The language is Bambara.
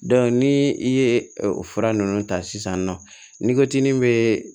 ni i ye o fura ninnu ta sisan nɔ ni ko tin bɛ